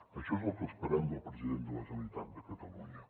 això és el que esperem del president de la generalitat de catalunya